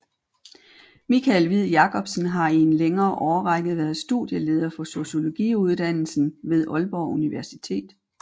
Michael Hviid Jacobsen har i en længere årrække været studieleder for Sociologiuddannelsen ved Aalborg Universitet